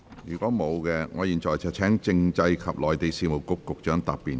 如果沒有，我現在請政制及內地事務局局長答辯。